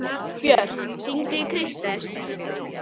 Björk, hringdu í Kristel.